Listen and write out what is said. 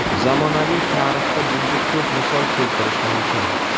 Zamonaviy tarixda bunga ko‘p misol keltirish mumkin.